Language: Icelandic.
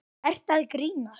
Ertu að grínast?